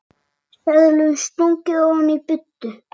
Seðlum stungið ofan í buddu.